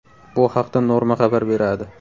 Bu haqda Norma xabar beradi .